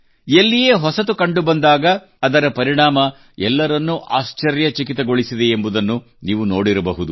ಎಲ್ಲಿಯೇ ಹೊಸತು ಕಂಡುಬಂದಾಗ ಅದರ ಪರಿಣಾಮ ಎಲ್ಲರನ್ನೂ ಆಶ್ಚರ್ಯಚಕಿತಗೊಳಿಸಿದೆ ಎಂಬುದನ್ನು ನೀವು ನೋಡಿರಬಹದು